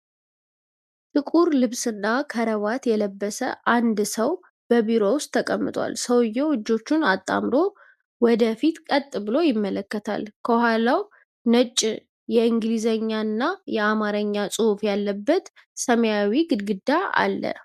ጥቁር ልብስና ክራቫት የለበሰ አንድ ሰው በቢሮ ውስጥ ተቀምጧል። ሰውየው እጆቹን አጣምሮ ወደ ፊት ቀጥ ብሎ ይመለከታል። ከኋላው ነጭ የእንግሊዝኛና የአማርኛ ጽሑፍ ያለበት ሰማያዊ ግድግዳ አለ።